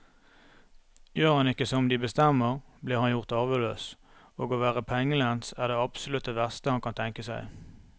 Gjør han ikke som de bestemmer, blir han gjort arveløs, og å være pengelens er det absolutt verste han kan tenke seg.